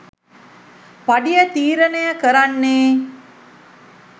පඩිය තීරණය කරන්නේ.